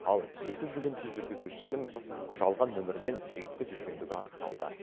ал жеті жүгенсіз жүргізушінің жалған нөмірмен жүйткіп жүргендігі анықталды